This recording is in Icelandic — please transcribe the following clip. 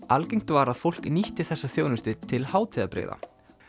algengt var að fólk nýtti þessa þjónustu til hátíðabrigða